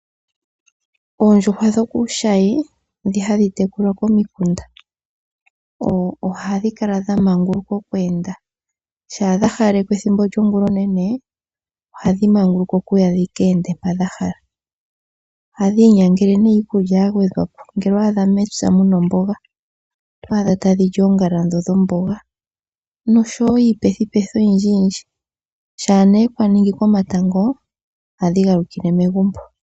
Oondjuhwa dho kuushayi ndhoka hadhi tekulwa komikunda ohadhi kala dha maanguluka oku enda. Shampa dha hawalekwa ethimbo lyongulonene ohadhi manguluka okuya dhi ka ende mpoka dha hala. Ohadhi inyangele iikulya ya gwedhwa po, ngele owa adha mepya mu na omboga oto adha tadhi li oongala dhomboga noshowo iipethipethi oyindji. Shampa kwa ningi komatango ohadhi galukile megumbo.